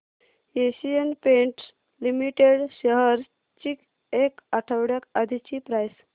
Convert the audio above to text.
Asian Paints Limited shares ची एक आठवड्या आधीची प्राइस